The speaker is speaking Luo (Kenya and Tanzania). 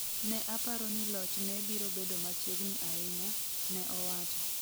ne aparo ni loch ne biro bedo machiegni ahinya, ne owacho